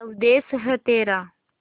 स्वदेस है तेरा